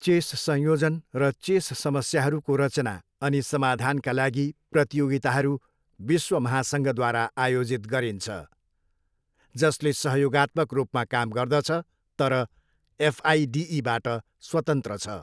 Chess संयोजन र chess समस्याहरूको रचना अनि समाधानका लागि प्रतियोगिताहरू विश्व महासङ्घद्वारा आयोजित गरिन्छ, जसले सहयोगात्मक रूपमा काम गर्दछ, तर एफआइडिईबाट स्वतन्त्र छ।